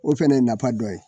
O fɛnɛ ye nata dɔ ye